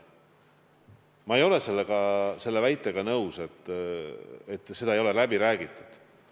Ma ei ole selle väitega nõus, et midagi ei ole läbi räägitud.